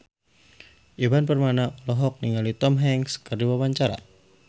Ivan Permana olohok ningali Tom Hanks keur diwawancara